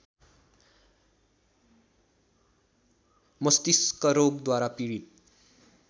मष्तिस्क रोगद्वारा पीडित